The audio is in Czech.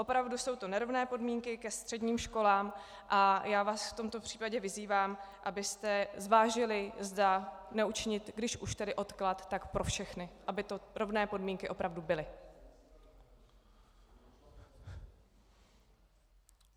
Opravdu jsou to nerovné podmínky ke středním školám a já vás v tomto případě vyzývám, abyste zvážili, zda neučinit, když už tedy odklad, tak pro všechny, aby to rovné podmínky opravdu byly.